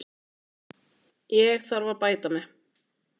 Ég þarf að bæta mig.